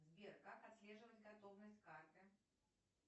сбер как отслеживать готовность карты